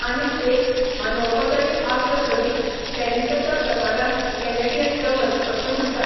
आनीक एक, अनौपचारीक आसलो तरीय, टेनिसाच्या प्रकाराक कॅनॅडियन डबल्स अशें म्हण्टात.